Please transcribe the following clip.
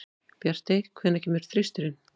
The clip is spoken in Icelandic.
Bjartey, hvenær kemur þristurinn?